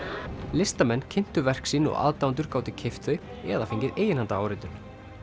listamenn kynntu verk sín og aðdáendur gátu keypt þau eða fengið eiginhandaráritun